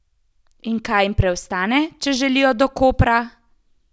In kaj jim preostane, če želijo do Kopra?